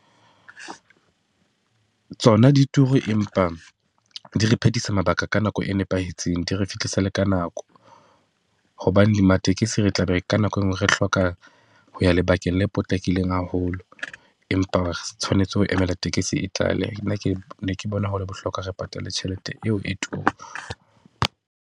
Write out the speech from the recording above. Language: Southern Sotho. Tsona di turu empa di re phethisa mabaka ka nako e nepahetseng. Di re fihlisa le ka nako, hobane di matekesi re tla be ka nako e nngwe re hloka ho ya lebakeng la potlakileng haholo, empa re tshwanetse ho emela tekesi e tlale. Nna ke, ne ke bona ho le bohlokwa, re patale tjhelete eo e tura